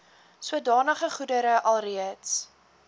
sodanige goedere alreeds